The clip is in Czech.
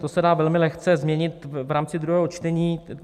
To se dá velmi lehce změnit v rámci druhého čtení.